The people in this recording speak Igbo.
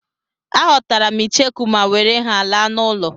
Aghọtara m icheku ma were ha laa n'ụlọ.